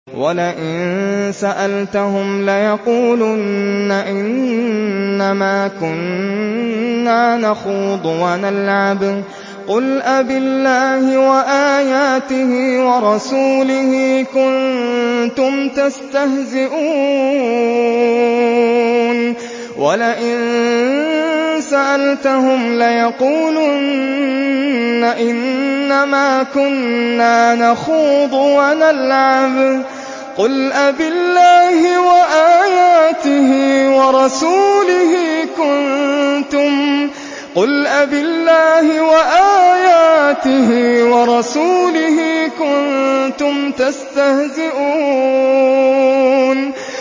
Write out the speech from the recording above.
وَلَئِن سَأَلْتَهُمْ لَيَقُولُنَّ إِنَّمَا كُنَّا نَخُوضُ وَنَلْعَبُ ۚ قُلْ أَبِاللَّهِ وَآيَاتِهِ وَرَسُولِهِ كُنتُمْ تَسْتَهْزِئُونَ